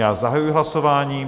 Já zahajuji hlasování.